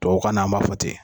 tubabukan na , an b'a fɔ ten.